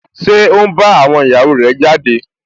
Ṣé ó n bá àwọn ìyàwó rẹ̀ jáde?